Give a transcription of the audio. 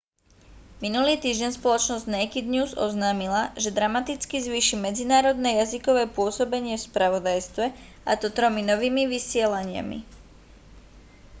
minulý týždeň spoločnosť naked news oznámila že dramaticky zvýši medzinárodné jazykové pôsobenie v spravodajstve a to tromi novými vysielaniami